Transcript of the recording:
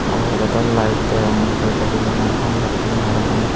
obedor light deyongor redo beli mai ham gotton ney parapang.